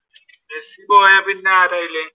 Messi പോയ പിന്നെ ആരാ അതിൽ?